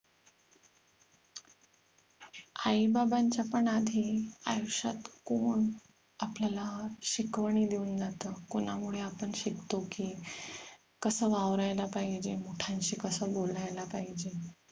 आई बाबांच्या पण आधी आयुष्यात कोण आपल्याला शिकवणी देऊन जात कोणामुळे आपण शिकतो की कस वावरायला पाहीजे मोठ्यांशी कस बोलायला पाहिजे